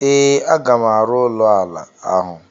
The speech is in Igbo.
Ee, a ga m arụ ụlọ ala ahụ.